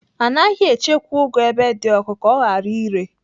Anaghị echekwa ụgụ ebe dị ọkụ ka ọ ghara ire.